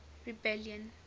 rebellion